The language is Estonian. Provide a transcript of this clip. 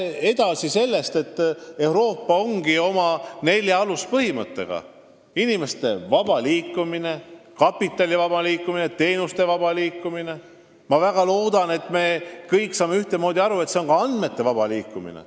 Euroopa Liidu neli aluspõhimõtet on inimeste vaba liikumine, kapitali vaba liikumine, teenuste vaba liikumine ja ma väga loodan, et me kõik saame sellest ühtemoodi aru, ka andmete vaba liikumine.